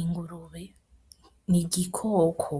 Ingurube n’igikoko,